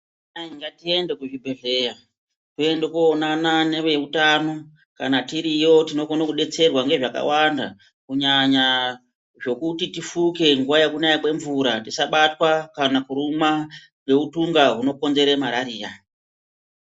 Vanamai ngatiende kuzvibhedhleya. Toende koonana neveutano. Kana tiriyo tinokona kudetserwa ngezvakawanda, kunyanya zvokuti tifuke nguva yekunaya kwemvura. Tisabatwa kana kurumwa neutunga hunokonzera marariya.